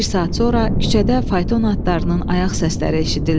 Bir saat sonra küçədə fayton atlarının ayaq səsləri eşidildi.